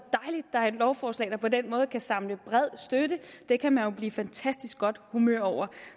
der er et lovforslag der på den måde kan samle bred støtte det kan man jo blive i fantastisk godt humør over